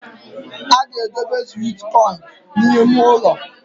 A ga-edobe sweet corn n’ime ụnọ